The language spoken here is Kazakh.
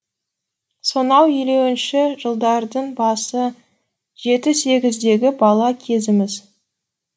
сонау елуінші жылдардың басы жеті сегіздегі бала кезіміз